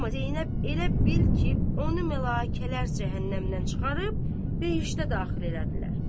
Amma Zeynəb elə bil ki, onu mələkələr cəhənnəmdən çıxarıb behiştə daxil elədilər.